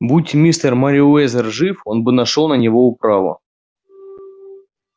будь мистер мерриуэзер жив он бы нашёл на него управу